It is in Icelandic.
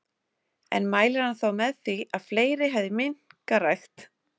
En mælir hann þá með því að fleiri hefði minkarækt?